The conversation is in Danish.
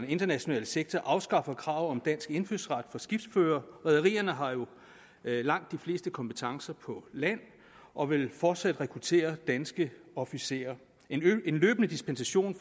international sektor afskaffer kravet om dansk indfødsret for skibsførere rederierne har jo langt de fleste kompetencer på land og vil fortsat rekruttere danske officerer en løbende dispensation